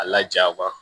A lajaba